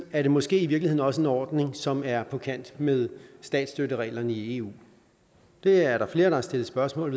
er det måske i virkeligheden også en ordning som er på kant med statsstøttereglerne i eu det er der flere der har stillet spørgsmål